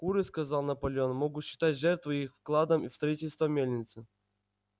куры сказал наполеон могут считать жертву их вкладом в строительство мельницы